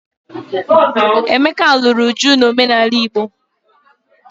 Emeka lụrụ Uju n'omenala Igbo.